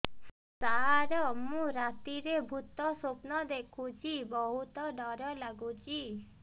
ସାର ମୁ ରାତିରେ ଭୁତ ସ୍ୱପ୍ନ ଦେଖୁଚି ବହୁତ ଡର ଲାଗୁଚି